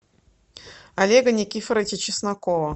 олега никифоровича чеснокова